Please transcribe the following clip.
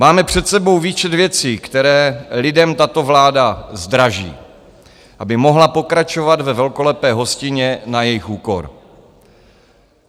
Máme před sebou výčet věcí, které lidem tato vláda zdraží, aby mohla pokračovat ve velkolepé hostině na jejich úkor.